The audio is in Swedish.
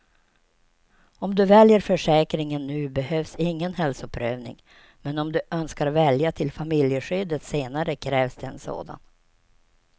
Om du väljer försäkringen nu behövs ingen hälsoprövning, men om du önskar välja till familjeskyddet senare krävs det en sådan.